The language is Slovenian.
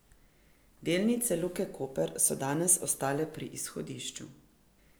Delnice Luke Koper so danes ostale pri izhodišču.